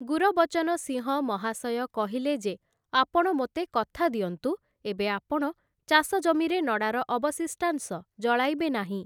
ଗୁରବଚନ ସିଂହ ମହାଶୟ କହିଲେ ଯେ ଆପଣ ମୋତେ କଥା ଦିଅନ୍ତୁ ଏବେ ଆପଣ ଚାଷଜମିରେ ନଡ଼ାର ଅବଶିଷ୍ଟାଂଶ ଜଳାଇବେ ନାହିଁ ।